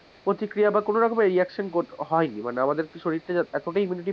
প্রতিক্রিয়া বা কোনোরকম reaction হয় নি, মানে আমাদের শরীরটা যে এতটাই immunity,